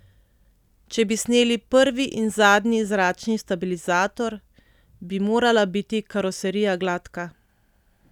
Če bi sneli prvi in zadnji zračni stabilizator, bi morala biti karoserija gladka.